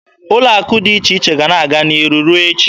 Ụlọ akụ dị iche iche ga-ana aga n'ihu ruo echi.